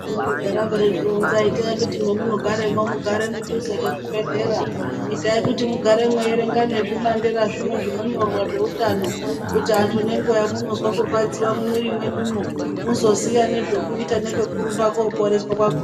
Itai kuti mamunogara imumo mugara mudhuze nezvibhedhera itai kuti mugare muchiverenga nezvibandera zvinhu zvinonyorwa zveutano kuti antu panonzwa zvekurwadziwa mumiviri menyumo muzoziva nezvekuita nekwekurumba kunoporeswa kwakona.